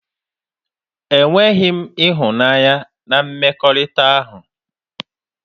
E nweghi ịhụnanya na mmekọrịta ahụ.